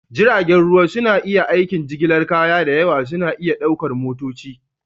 Jiragen ruwa suna aikin jigilar kaya da yawa suna iya ɗaukar motoci